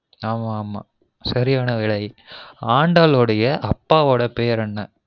ஆமா ஆமா சரியான விடை ஆண்டாளொடிய அப்பாவொட பேர் என்ன?